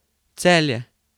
Celje.